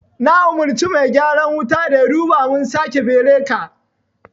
Na umarci mai gyaran wuta da yaduba mun sake beraka